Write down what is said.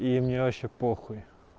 и мне вообще похуй